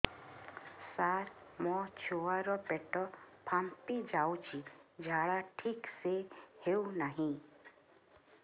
ସାର ମୋ ଛୁଆ ର ପେଟ ଫାମ୍ପି ଯାଉଛି ଝାଡା ଠିକ ସେ ହେଉନାହିଁ